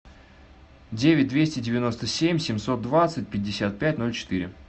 девять двести девяносто семь семьсот двадцать пятьдесят пять ноль четыре